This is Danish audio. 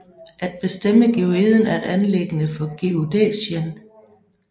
At bestemme geoiden er et anliggende for geodæsien